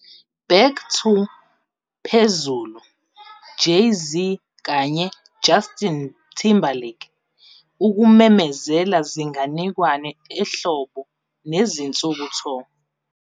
Back to - phezulu 'Jay-Z kanye Justin Timberlake ukumemezela' zinganekwane ehlobo 'nezinsuku tour'.